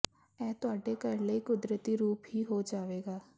ਇਹ ਤੁਹਾਡੇ ਘਰ ਲਈ ਕੁਦਰਤੀ ਰੂਪ ਹੀ ਹੋ ਜਾਵੇਗਾ